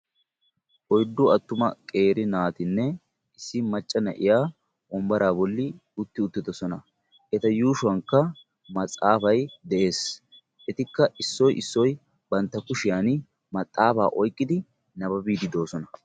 Oyddu attuma qeeri naatinne issi macca na"iya wombaraa bolli utti uttiidosona. Eta yuushuwankka matsaafay de'ees. Etikka issoy issoy bantta kushiyan maxaafa oyqqidi nababiiddi de'oosona.